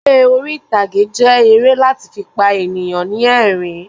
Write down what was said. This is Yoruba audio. Eré orítagé jẹ èrè lati fi pa eniyan ni ẹ̀rín